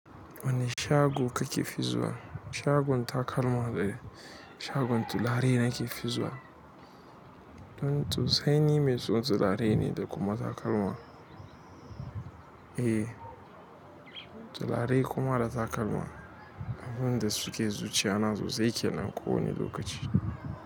Wanieshago kake fi zuwa? Shagon takalma ne, shagon turare nake fi zuwa. Mm sosai ni me son, turare ne da kuma takalma. Eh, turare kuma da takalma. Abin da suke zuciyana sosai kenan kowane lokaci.